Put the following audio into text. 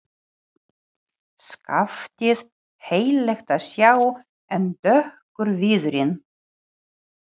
Skaftið heillegt að sjá en dökkur viðurinn.